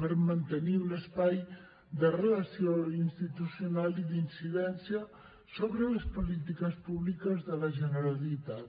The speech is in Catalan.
per mantenir un espai de relació institucional i d’incidència sobre les polítiques públiques de la generalitat